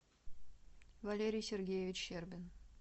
валерий сергеевич щербин